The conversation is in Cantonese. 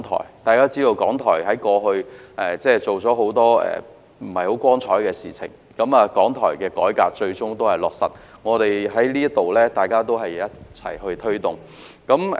一如大家所知，港台過往有很多不大光彩的行為，改革港台的建議最終得到落實，是我們一起在此推動的成果。